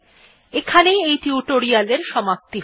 এখানেই এই টিউটোরিয়াল্ এর সমাপ্তি হল